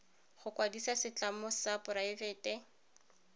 go kwadisa setlamo sa poraebete